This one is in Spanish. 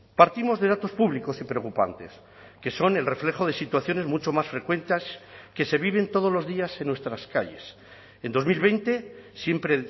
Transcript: partimos de datos públicos y preocupantes que son el reflejo de situaciones mucho más frecuentes que se viven todos los días en nuestras calles en dos mil veinte siempre